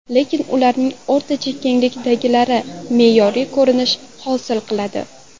Lekin ularning o‘rtacha kenglikdagilari me’yoriy ko‘rinish hosil qiladi.